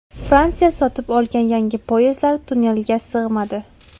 Fransiya sotib olgan yangi poyezdlar tunnelga sig‘madi .